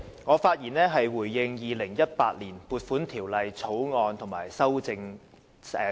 我發言回應《2018年撥款條例草案》及其修正案。